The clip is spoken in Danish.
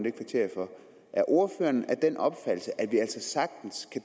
er ordføreren af den opfattelse at